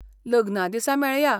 लग्ना दिसा मेळया!